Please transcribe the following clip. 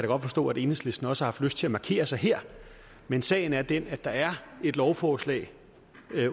godt forstå at enhedslisten også har lyst til at markere sig her men sagen er den at der er et lovforslag